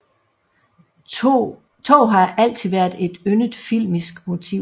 Tog har altid været et yndet filmisk motiv